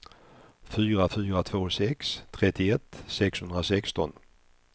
fyra fyra två sex trettioett sexhundrasexton